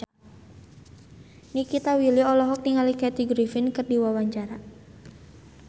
Nikita Willy olohok ningali Kathy Griffin keur diwawancara